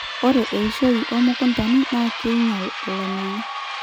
ore eishoi omukuntani na keinyial olameyu